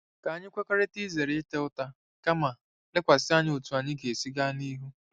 Ka anyị kwekọrịta izere ịta ụta ma kama lekwasị anya n'otú anyị ga-esi gaa n'ihu.